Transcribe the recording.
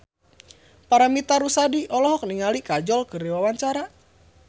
Paramitha Rusady olohok ningali Kajol keur diwawancara